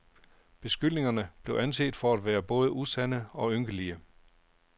Beskyldningerne blev anset for værende både usande og ynkelige.